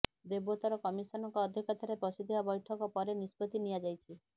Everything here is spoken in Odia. ଦେବୋତ୍ତର କମିଶନଙ୍କ ଅଧ୍ୟକ୍ଷତାରେ ବସିଥିବା ବୈଠକ ପରେ ନିଷ୍ପତ୍ତି ନିଆଯାଇଛି